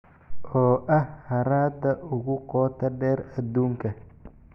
oo ah harada ugu qoto dheer aduunka